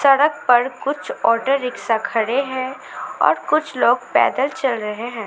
सड़क पर कुछ ऑटो रिक्शा खड़े हैं और कुछ लोग पैदल चल रहे हैं।